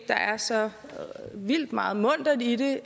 der er så vildt meget muntert i det